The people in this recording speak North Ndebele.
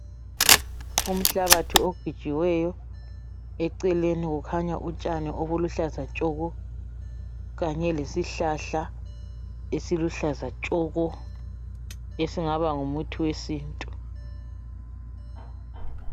umhlabathi ogejiweyo eceleni kukhanya utshani obuluhlaza tshoko kanye lesihlahla esiluhlaza tshoko esingaba ngumuthi wesintu